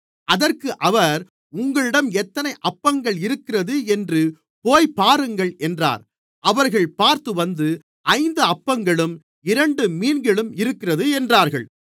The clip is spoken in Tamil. அதற்கு அவர் உங்களிடம் எத்தனை அப்பங்கள் இருக்கிறது என்று போய்ப் பாருங்கள் என்றார் அவர்கள் பார்த்துவந்து ஐந்து அப்பங்களும் இரண்டு மீன்களும் இருக்கிறது என்றார்கள்